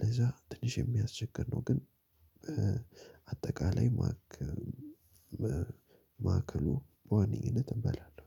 ለዛ ትንሽ የሚያስቸግር ነው ግን። አጠቃላይ ማዕከሉ ማዕከሉ በዋነኝነት እበላለሁ።